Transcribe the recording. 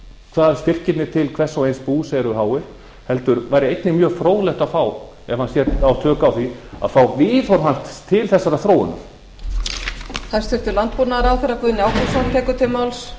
hvað styrkirnir til hvers og eins bús eru háir heldur væri einnig mjög fróðlegt að fá ef hann á tök á því að fá viðhorf hans til þessarar þróunar